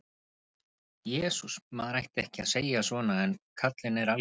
Jesús, maður ætti ekki að segja svona en karlinn er algjört naut.